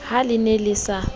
ha le ne le sa